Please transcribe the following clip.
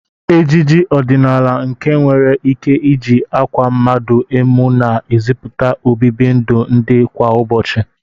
Ejije ọdịnala nke e nwere ike iji akwa mmadu emu na-eziputa obibi ndụ ndị kwa ụbochị.